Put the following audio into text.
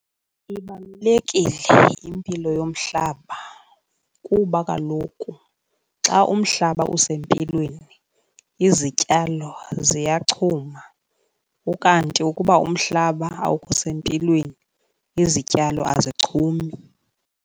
Ibalulekile impilo yomhlaba kuba kaloku xa umhlaba usempilweni izityalo ziyachuma, ukanti ukuba umhlaba awukho sempilweni izityalo azichumi.